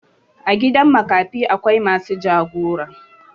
A gidan makafi akwai masu jagora.